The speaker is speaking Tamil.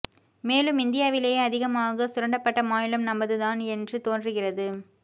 மேலும் இந்தியாவிலேயே அதிகமாக சுரண்டபட்ட மாநிலம் நமது தான் என்று தோன்றுகிறது